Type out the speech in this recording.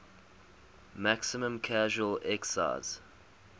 maximum casual excise